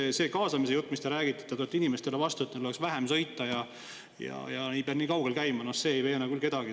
Sest see kaasamise jutt, mis te räägite, et te tulete inimestele vastu, et neil oleks vaja vähem sõita ja et ei pea nii kaugel käima, ei veena küll kedagi.